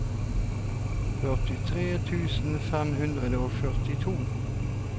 førtitre tusen fem hundre og førtito